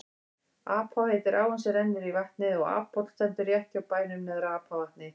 Apá heitir áin sem rennur í vatnið og Aphóll stendur rétt hjá bænum Neðra-Apavatni.